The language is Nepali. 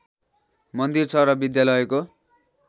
मन्दिर छ र विद्यालयको